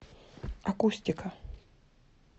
акустика